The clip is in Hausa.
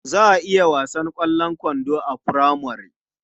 Za a yi wasan ƙwallon kwando a furamare.